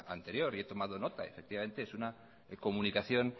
anterior y he tomado nota y efectivamente es una comunicación